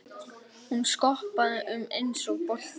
Hún skoppaði um eins og bolti.